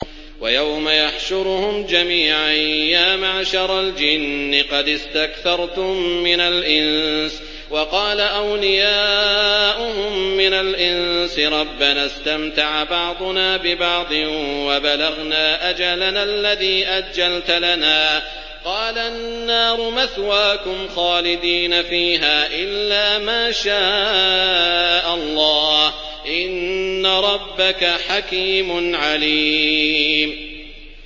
وَيَوْمَ يَحْشُرُهُمْ جَمِيعًا يَا مَعْشَرَ الْجِنِّ قَدِ اسْتَكْثَرْتُم مِّنَ الْإِنسِ ۖ وَقَالَ أَوْلِيَاؤُهُم مِّنَ الْإِنسِ رَبَّنَا اسْتَمْتَعَ بَعْضُنَا بِبَعْضٍ وَبَلَغْنَا أَجَلَنَا الَّذِي أَجَّلْتَ لَنَا ۚ قَالَ النَّارُ مَثْوَاكُمْ خَالِدِينَ فِيهَا إِلَّا مَا شَاءَ اللَّهُ ۗ إِنَّ رَبَّكَ حَكِيمٌ عَلِيمٌ